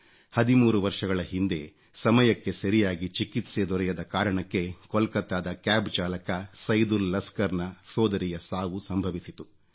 13 ವರ್ಷಗಳ ಹಿಂದೆ ಸಮಯಕ್ಕೆ ಸರಿಯಾಗಿ ಚಿಕಿತ್ಸೆ ದೊರೆಯದ ಕಾರಣಕ್ಕೆ ಕೊಲ್ಕತ್ತಾದ ಕ್ಯಾಬ್ ಚಾಲಕ ಸೈದುಲ್ ಲಸ್ಕರ್ ನ ಸೋದರಿಯ ಸಾವು ಸಂಭವಿಸಿತು